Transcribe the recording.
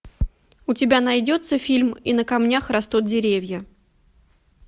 у тебя найдется фильм и на камнях растут деревья